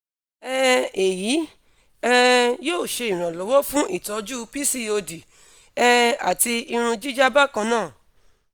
um eyi um yoo ṣe iranlọwọ fun itọju pcod um ati irun jija bákan náà